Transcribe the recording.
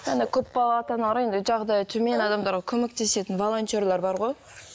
көпбалалы ата аналарға енді жағдайы төмен адамдарға көмектесетін волонтерлер бар ғой